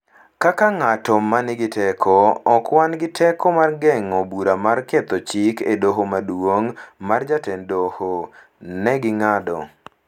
Kaka ng’at ma nigi teko, ok wan gi teko mar geng’o bura mar ketho chik e Doho maduong’ mar jatend doho, ne ging'ado.